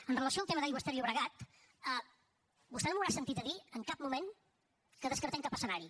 amb relació al tema d’aigües ter llobregat vostè no em deu haver sentit dir en cap moment que descartem cap escenari